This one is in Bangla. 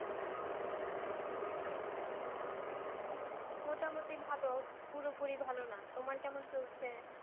মোটামুটি ভালো। পুরোপুরি ভালো না। তোমার কেমন চলছে?